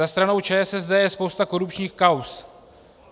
Za stranou ČSSD je spousta korupčních kauz.